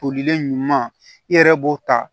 Tolilen ɲuman i yɛrɛ b'o ta